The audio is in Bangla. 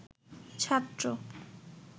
ছাত্র